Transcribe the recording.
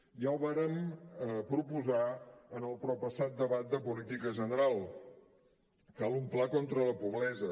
ja ho vàrem proposar en el proppassat debat de política general cal un pla contra la pobresa